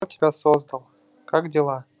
кто тебя создал как дела